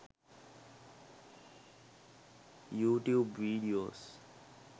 youtube videos